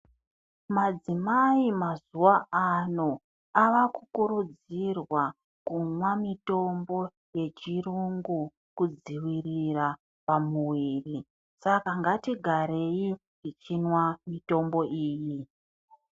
Madzimai mazuwa ano ava kukurudzirwa kumwa mitombo yechirungu, kudzivirira pamuviri. Saka ngatigarei tichinwa mitombo iyi.